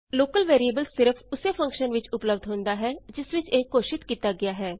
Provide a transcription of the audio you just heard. local variable ਸਿਰਫ ਉਸੇ function ਵਿਚ ੳਪਲੱਭਦ ਹੁੰਦਾ ਹੈ ਜਿਸ ਵਿਚ ਇਹ ਘੋਸ਼ਿਤ ਕੀਤਾ ਗਿਆ ਹੈ